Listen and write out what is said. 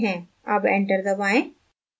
अब enter दबाएं